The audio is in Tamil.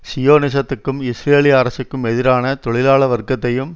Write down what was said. சியோனிசத்துக்கும் இஸ்ரேலிய அரசுக்கும் எதிரான தொழிலாள வர்க்கத்தையும்